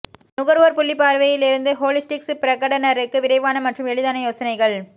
நுகர்வோர் புள்ளி பார்வையில் இருந்து ஹோலிஸ்டிக் பிரகடனருக்கு விரைவான மற்றும் எளிதான யோசனைகள்